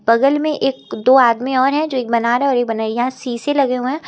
बगल में एक दो आदमी और है जो एक बना रहा है और बनैया शीशे लगे हुए हैं।